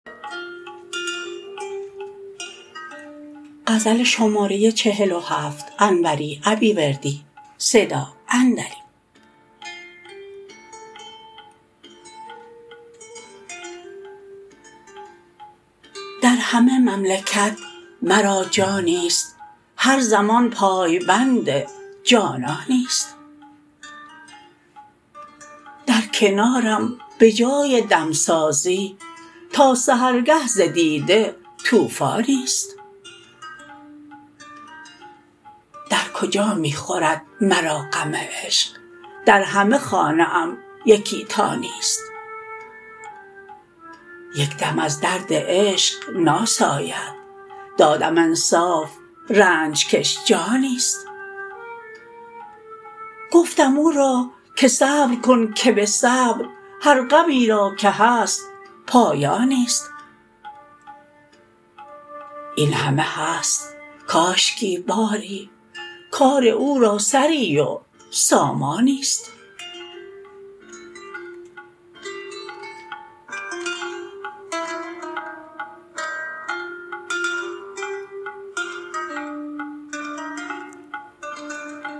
در همه مملکت مرا جانیست هر زمان پای بند جانانیست در کنارم به جای دمسازی تا سحرگه ز دیده طوفانیست در کجا می خورد مرا غم عشق در همه خانه ام یکی تا نیست یک دم از درد عشق ناساید دادم انصاف رنج کش جانیست گفتم او را که صبر کن که به صبر هر غمی را که هست پایانیست این همه هست کاشکی باری کار او را سری و سامانیست